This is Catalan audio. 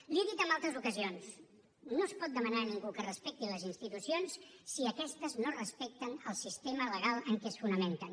l’hi he dit en altres ocasions no es pot demanar a ningú que respecti les institucions si aquestes no respecten el sistema legal en què es fonamenten